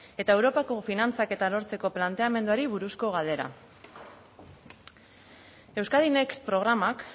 eta europako finantzaketa lortzeko planteamenduari buruzko galdera euskadin next programak